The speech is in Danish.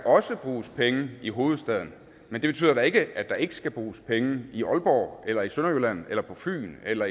bruges penge i hovedstaden men det betyder da ikke at der ikke skal bruges penge i aalborg eller i sønderjylland eller på fyn eller